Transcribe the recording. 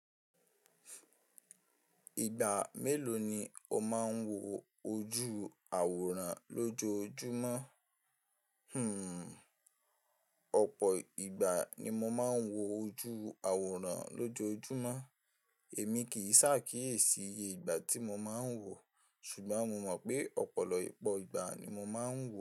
Ìgbà mélòó ni ó máa ń wo ojú àwòrán lójoojúmọ́? Hmmm, ọ̀pọ̀ ìgbà ni mo máa ń wo ojú àwòrán lójoojúmọ́. Èmi kì í s'ákíyèsi iye ìgbà tí mo máa ń wò, ṣùgbọ́n mo mọ̀ pé ọ̀pọ̀lọpọ̀ ìgbà ni mo máa ń wò.